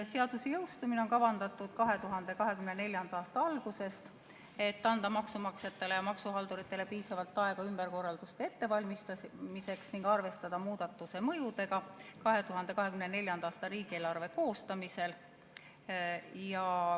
Seadus on kavandatud jõustuma 2024. aasta alguses, et anda maksumaksjatele ja maksuhalduritele piisavalt aega ümberkorralduste ettevalmistamiseks ning arvestada muudatuse mõjudega 2024. aasta riigieelarve koostamisel.